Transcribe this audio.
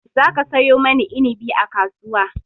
Za ka sayo mani inabi a kasuwa!